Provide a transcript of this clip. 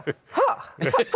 ha